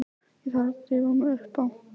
Ég þarf að drífa mig upp á